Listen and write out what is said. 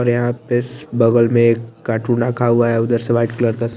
और यहा पे इस बगल में एक कार्टून रखा हुआ है उधर से एक वाइट कलर का--